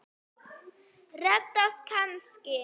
Reddast kannski?